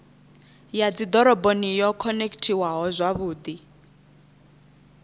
ya dzidoroboni yo khonekhithiwaho zwavhudi